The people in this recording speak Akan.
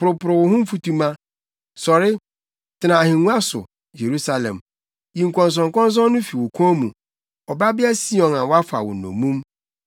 Poroporow wo ho mfutuma. Sɔre, tena ahengua so, Yerusalem. Yiyi nkɔnsɔnkɔnsɔn no fi wo kɔn mu, Ɔbabea Sion a wɔafa wo nnommum.